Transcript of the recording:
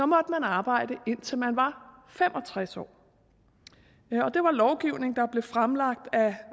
måtte man arbejde indtil man var fem og tres år det var lovgivning der blev fremlagt af